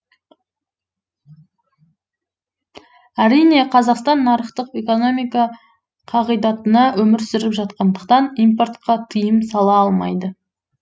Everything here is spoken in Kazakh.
әрине қазақстан нарықтық экономика қағидатында өмір сүріп жатқандықтан импортқа тыйым сала алмайды